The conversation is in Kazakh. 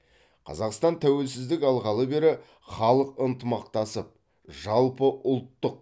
қазақстан тәуелсіздік алғалы бері халық ынтымақтасып жалпыұлттық